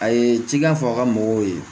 A ye cikɛ fɔ a ka mɔgɔw ye